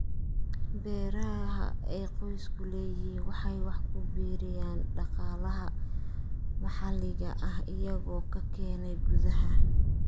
Beeraha ay qoysku leeyihiin waxay wax ku biiriyaan dhaqaalaha maxalliga ah iyagoo ka keenaya gudaha.